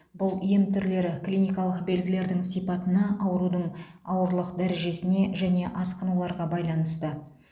бұл ем түрлері клиникалық белгілердің сипатына аурудың ауырлық дәрежесіне және асқынуларға байланысты